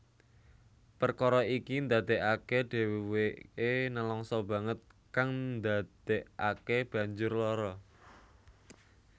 Perkara iki ndadekake dheweke nelangsa banget kang ndadekake banjur lara